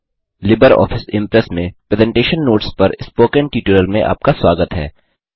Libre office Impress में presentation notes पर spoken tutorial में आपका स्वागत है